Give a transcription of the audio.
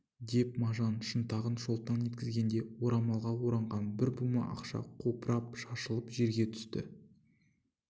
деп мажан шынтағын шолтаң еткізгеңде орамалға ораған бір бума ақша қопырап шашылып жерге түсті